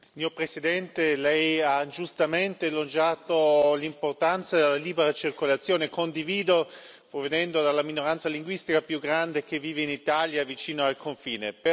Signor Presidente, lei ha giustamente elogiato l'importanza della libera circolazione, che condivido, provenendo dalla minoranza linguistica più grande che vive in Italia, vicino al confine.